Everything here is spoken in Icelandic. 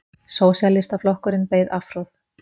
Sósíalistaflokkurinn beið afhroð